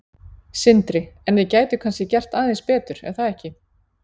Sindri: En þið gætuð kannski gert aðeins betur er það ekki?